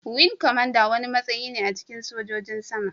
Wing kwamandan wani matsayi ne a cikin sojojin sama.